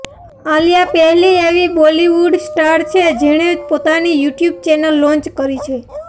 આલિયા પહેલી એવી Bollywood star છે જેણે પોતાની યુટ્યુબ ચેનલ લોન્ચ કરી છે